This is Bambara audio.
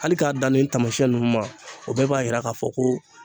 Hali k'a dan nin tamasiyɛn nunnu ma o bɛɛ b'a yira k'a fɔ ko